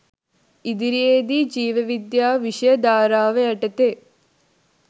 ඉදිරියේදී ජීව විද්‍යාව විෂය ධාරාව යටතේ